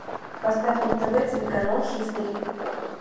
поставь на тв телеканал хистори